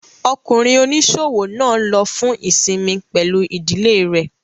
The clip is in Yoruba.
Ọkùnrin oníṣòwò náà lọ fún ìsinmi pẹ̀lú ìdílé rẹ̀